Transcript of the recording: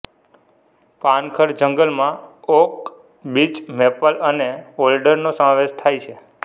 પાનખર જંગલમાં oak birch maple અને ઓલ્ડરનો સમાવેશ થાય છે